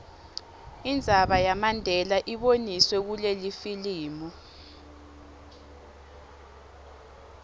indzaba yamandela iboniswe kulelifilimu